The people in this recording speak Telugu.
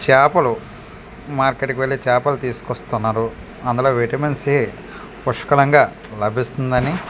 చాపలు మార్కెట్ కు వెళ్ళే చాపలు తిసుకొస్తున్నారు అందులో విటమిన్ సి పుష్కలంగా లభిస్తుందని .]